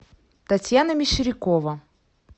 татьяна мещерякова